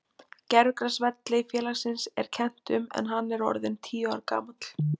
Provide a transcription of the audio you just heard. Gervigrasvelli félagsins er kennt um en hann er orðinn tíu ára gamall.